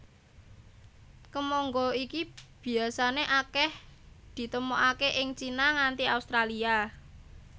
Kemangga iki biasané akèh ditemokaké ing Cina nganti Australia